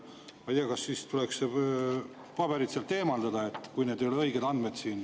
Ma ei tea, kas tuleks need paberid sealt eemaldada, kui seal ei ole õiged andmed.